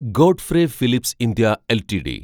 Godfrey Phillips India LTD